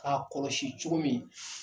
K'a kɔlɔsi cogo min